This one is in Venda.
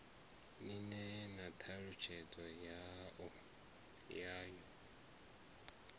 ni ṋee na ṱhalutshedzo yawo